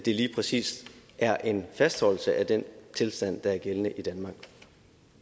det lige præcis er en fastholdelse af den tilstand der er gældende i danmark